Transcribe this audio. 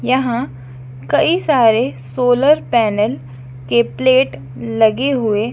यहां कई सारे सोलर पैनल के प्लेट लगे हुए--